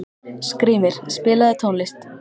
Skrýmir, spilaðu tónlist.